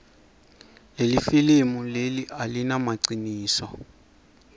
lelifilimu leli alimagniso